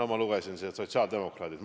Ma lugesin, et tegu oli sotsiaaldemokraatidega.